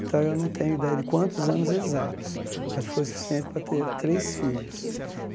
Então, eu não tenho ideia de quantos anos exatos, mas foi o suficiente para ter três filhos.